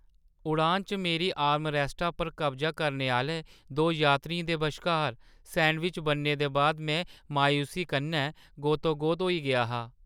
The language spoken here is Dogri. उड़ान च मेरी आर्मरैस्टा पर कब्जा करने आह्‌ले दो यात्रियें दे बश्कार सैंडविच बनने दे बाद में मायूसी कन्नै गोतोगोत होई गेआ हा।